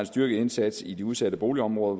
styrket indsats i de udsatte boligområder